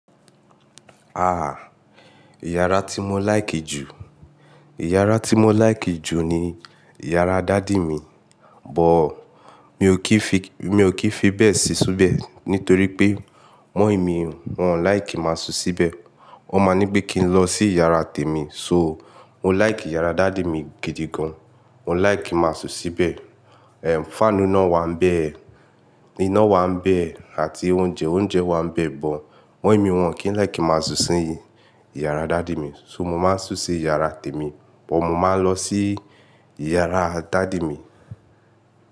Ah, iyàrá ti mo like ju, iyàrá ti mo like ju ni iyàrá dàdì mi, but mi ò kìí fi, mi ò kìí fi bẹ́ẹ̀ si súbẹ́ẹ̀ nítorí pé mọ̀-ín mi wọ́n like má sú síbẹ̀. Wọ́n ma ní pé kí n lọ sí iyàrá tèmi, so o. Mo like iyàrá dàdì mi gidi gan. Mo like ki n má sún síbẹ̀, ehm, fáànù naá wà nbẹ̀, iná wà nbẹ̀ e, àti oúnjẹ, oúnjẹ wà nbẹ̀, but mọ̀-ín mi wọ́n kìí like ki n má sún sí in iyàrá dàdì mi. So mo má sú sí iyàrá tèmi, but mo má lọ sí iyàrá dàdì mi.